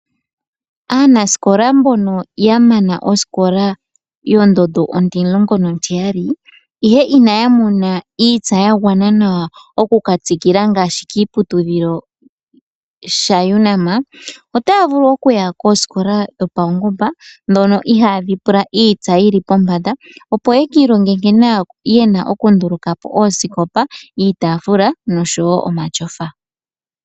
Aanaskola mbono ya mana osikola ondondo ontimulongonontiyali ihe inaya mona iitsa ya gwana nawa okuka tsikila ngaashi kiiputudhilo shaUnam, otaya vulu okuya koosikola dhopaungomba ndhono ihaadhi pula iitsa yi li pombanda opo yaka ilonge nkene ye na okundulukapo osikopa, iitaafula nosho wo omatyofa.